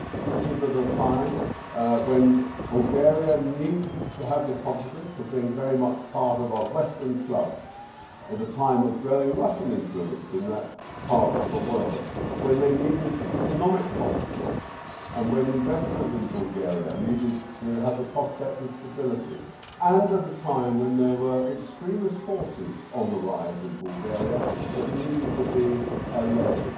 This was at a time when Bulgaria needed to have the confidence of being very much part of a western club. It was at a time of growing Russian influence in that part of the world, when they needed economic confidence and when investors in Bulgaria needed to have the prospect of stability, and at a time when there were extremist forces on the rise in Bulgaria that needed to be allayed.